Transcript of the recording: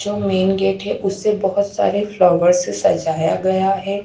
जो main gate है उसे बहोत सारे फ्लावर से सजाया गया है।